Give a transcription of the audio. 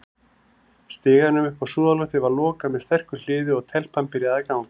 Stiganum upp á súðarloftið var lokað með sterku hliði, og- telpan byrjaði að ganga.